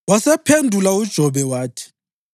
Wasephendula uJobe wathi: